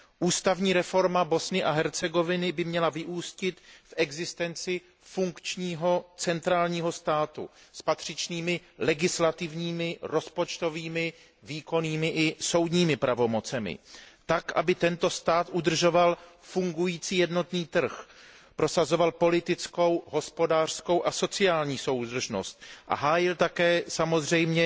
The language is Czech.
Ústavní reforma Bosny a Hercegoviny by měla vyústit v existenci funkčního centrálního státu s patřičnými legislativními, rozpočtovými, výkonnými i soudními pravomocemi tak, aby tento stát udržoval fungující jednotný trh, prosazoval politickou, hospodářskou a sociální soudržnost a hájil také samozřejmě